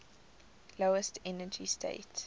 lowest energy state